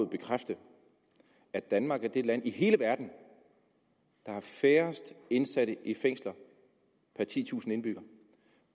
bekræfte at danmark er det land i hele verden der har færrest indsatte i fængsler per titusind indbyggere